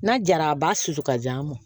N'a jara a b'a susu ka di a ma